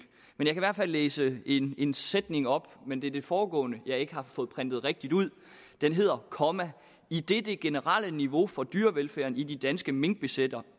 men jeg kan i hvert fald læse en en sætning op men det er det foregående jeg ikke har fået printet rigtigt ud den hedder idet det generelle niveau for dyrevelfærden i de danske minkbesætninger